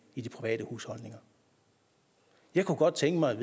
i de private husholdninger jeg kunne godt tænke mig